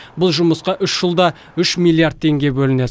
бұл жұмысқа үш жылда үш миллиард теңге бөлінеді